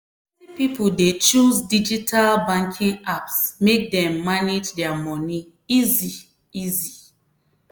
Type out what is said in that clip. plenty people dey choose digital banking apps make dem manage their money easy-easy.